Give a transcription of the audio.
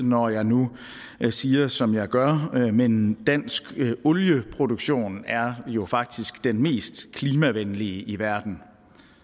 når jeg nu siger som jeg gør men dansk olieproduktion er jo faktisk den mest klimavenlige i verden